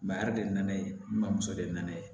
Mahada de nana ye mamuso de nana ye